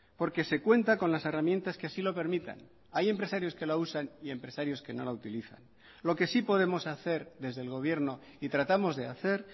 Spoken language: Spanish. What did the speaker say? porque se cuenta con las herramientas que así lo permitan hay empresarios que la usan y empresarios que no la utilizan lo que sí podemos hacer desde el gobierno y tratamos de hacer